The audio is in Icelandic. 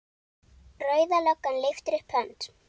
Rauða löggan lyftir upp hönd.